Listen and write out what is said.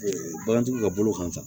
Bagantigiw ka bolo kan sa